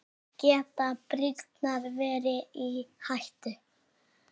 Geta brýrnar verið í hættu?